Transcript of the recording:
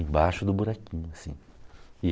Embaixo do buraquinho, assim.